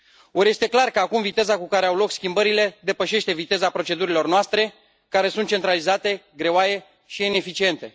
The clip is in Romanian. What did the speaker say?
Or, este clar că acum viteza cu care au loc schimbările depășește viteza procedurilor noastre, care sunt centralizate, greoaie și ineficiente.